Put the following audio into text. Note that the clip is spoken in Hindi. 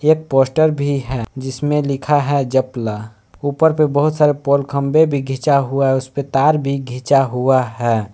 पोस्टर भी है जिसमें लिखा है जपला ऊपर पे बहोत सारे पोल खंबे भी खींचा हुआ है उस पे तार भी खींचा हुआ है।